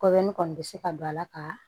Kɔbɛrin kɔni bɛ se ka don a la ka